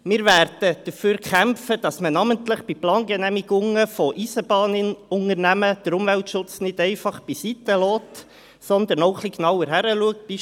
Wir werden dafür kämpfen, dass man namentlich bei Plangenehmigungen von Eisenbahnunternehmen den Umweltschutz nicht einfach beiseitelässt, sondern etwas genauer hinschaut.